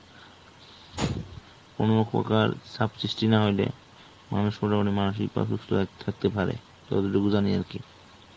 কোনো প্রকার সাব সৃষ্টি না হইলে মানুষ মোটামুটি মানসিক সুস্থ থাকতে পারে ততটুকু জানি আর কি